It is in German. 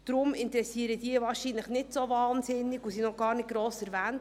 Deshalb interessieren diese wohl nicht so sehr und wurden noch gar nicht gross erwähnt.